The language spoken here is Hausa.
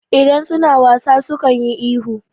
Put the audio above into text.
Idan su na wasa sukan yi ihu.